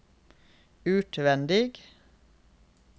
utvendig